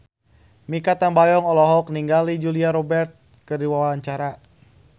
Mikha Tambayong olohok ningali Julia Robert keur diwawancara